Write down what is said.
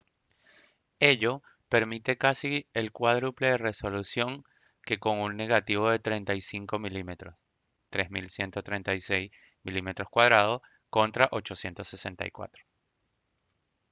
ello permite casi el cuádruple de resolución que con un negativo de 35 mm 3136 mm2 contra 864